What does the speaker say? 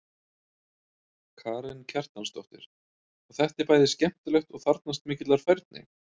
Karen Kjartansdóttir: Og þetta er bæði skemmtilegt og þarfnast mikillar færni?